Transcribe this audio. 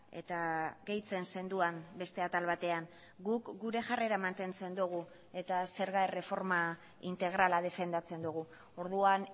eta gehitzen zenuen beste atal batean guk gure jarrera mantentzen dugu eta zerga erreforma integrala defendatzen dugu orduan